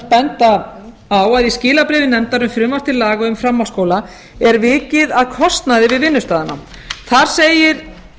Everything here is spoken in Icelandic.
benda á að í skilabréfi nefndar um frumvarp til laga um framhaldsskóla er vikið að kostnaði við vinnustaðina þar segir